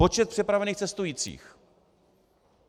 Počet přepravených cestujících.